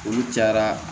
Olu cayara